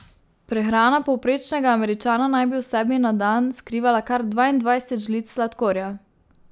Prehrana povprečnega Američana naj bi v sebi na dan skrivala kar dvaindvajset žlic sladkorja.